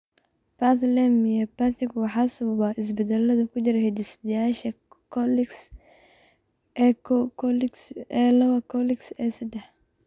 Bethlem myopathiga waxaa sababa isbeddellada ku jira hidde-sideyaasha COL liix A koow, COL liix A lawaa, iyo COL liix A sedaax.